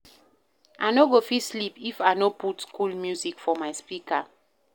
I no go fit sleep if I no put cool music for my speaker.